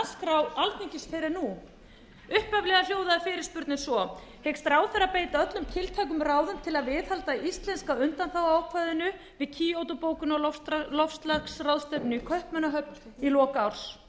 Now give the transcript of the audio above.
en nú upphaflega hljóðaði fyrirspurnin svo hyggst ráðherra beita öllum tiltækum ráðum til að viðhalda íslenska undanþáguákvæðinu við kýótó bókunarloftslagsráðstefnuna í kaupmannahöfn í lok árs